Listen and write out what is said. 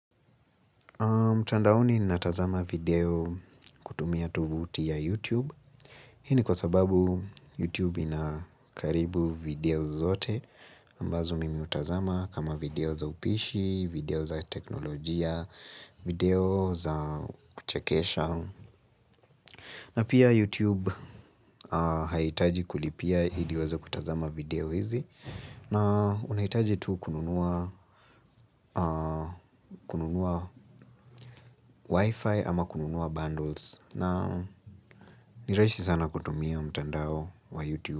Mtandaoni ninatazama video kutumia tovuti ya YouTube Hii ni kwa sababu YouTube ina karibu video zote ambazo mimi hutazama kama video za upishi, video za teknolojia, video za kuchekesha na pia YouTube haiitaji kulipia ili uweze kutazama video hizi na unahitaji tu kununua kununua wifi ama kununua bundles na ni rahisi sana kutumia mtandao wa YouTube.